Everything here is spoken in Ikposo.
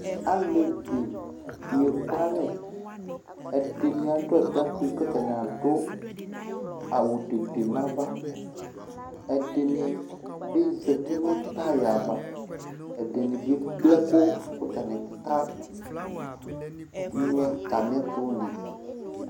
Aleʋini ɛkualɛ Ɛdini aɖu atakpi, ku atani aɖu awu tete nu ãvã Ɛdinibi zãti nu taya ava, ɛɖini ke kple ɛku, ku atani ka ŋuɛ atami ɛtu li